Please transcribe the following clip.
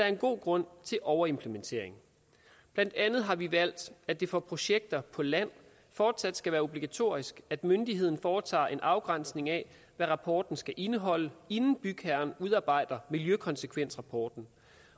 en god grund til overimplementering blandt andet har vi valgt at det for projekter på land fortsat skal være obligatorisk at myndigheden foretager en afgrænsning af hvad rapporten skal indeholde inden bygherren udarbejder miljøkonsekvensrapporten